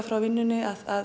frá vinnunni að